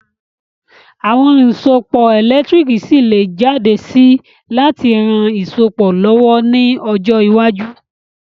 Àwon oun ìsopọ̀ ẹ̀lẹ́ntírikì ṣi lé jáde si láti ran isopọ̀ lọ̀wọ̀ ni ojọ́ iwájú